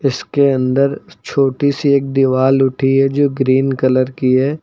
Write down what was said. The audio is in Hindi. इसके अंदर छोटी सी एक दीवाल उठी है जो ग्रीन कलर की है।